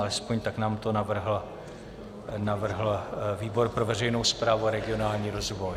Alespoň tak nám to navrhl výbor pro veřejnou správu a regionální rozvoj.